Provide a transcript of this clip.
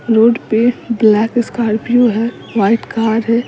Road पे black Scorpio है white car है।